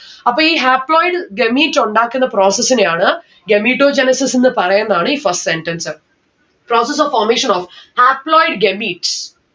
അപ്പൊ ഈ haploid gamete ഉണ്ടാക്കുന്ന process നെയാണ് gametogenesis എന്ന് പറയുന്നാണ് ഈ first sentence process of formation of haploid gamete